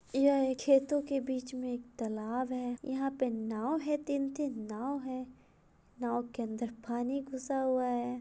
यह खेतों के बीच मे एक तलाब है। यहाँ पे नाव है तीन-तीन नाव है नाव के अंदर पानी घुसा हुआ है।